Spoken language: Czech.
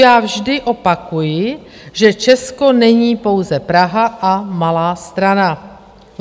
Já vždy opakuji, že Česko není pouze Praha a Malá Strana.